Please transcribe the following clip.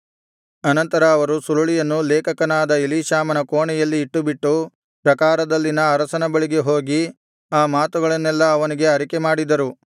ಅನಂತರ ಅವರು ಸುರುಳಿಯನ್ನು ಲೇಖಕನಾದ ಎಲೀಷಾಮನ ಕೋಣೆಯಲ್ಲಿ ಇಟ್ಟುಬಿಟ್ಟು ಪ್ರಾಕಾರದಲ್ಲಿನ ಅರಸನ ಬಳಿಗೆ ಹೋಗಿ ಆ ಮಾತುಗಳನ್ನೆಲ್ಲಾ ಅವನಿಗೆ ಅರಿಕೆ ಮಾಡಿದರು